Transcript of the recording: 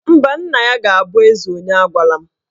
Mba, nna ya ga-abụ eze onye agwala m